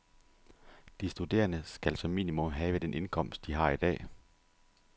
De studerende skal som minimum have den indkomst, de har i dag.